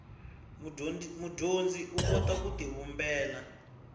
mudyondzi u kota ku tivumbela